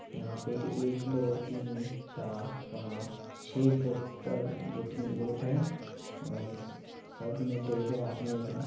यहाँ पे एक दो तीन चार पांच छै बोटर बोटिंग बोट है सब में दो-दो आदमी है।